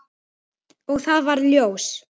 Og það varð ljós.